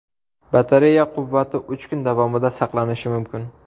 Batareya quvvati uch kun davomida saqlanishi mumkin.